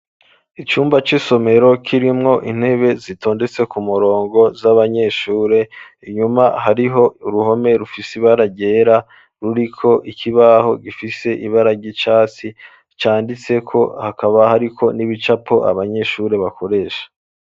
Icumba c'isomero kirimwo intebe zitondetse ku murongo z'abanyeshuri inyuma hariho ruhome rufisi baragera ruriko ikibaho gifise ibara ry'icatsi cyanditse ko hakaba hariko n'ibicapo abanyeshuri bakoresha.